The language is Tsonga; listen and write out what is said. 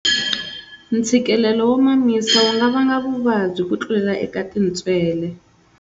Ntshikilelo wo mamisa wu nga vanga vuvabyi ku tlulela eka tintswele.